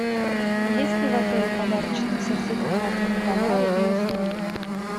есть ли в отеле подарочные сертификаты на товары и услуги